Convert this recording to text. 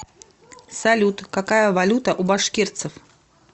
салют какая валюта у башкирцев